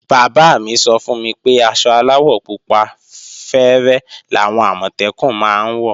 Bàbá mí sọ fún mi pé aṣọ aláwọ̀ pupa fẹ́rẹ́ làwọn Àmọ̀tẹ́kùn máa ń wọ̀